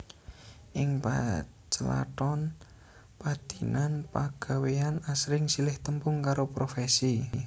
Ing pacelaton padinan pagawéyan asring silih tembung karo profèsi